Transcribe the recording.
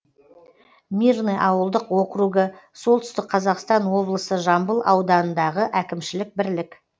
мирный ауылдық округі солтүстік қазақстан облысы жамбыл ауданындағы әкімшілік бірлік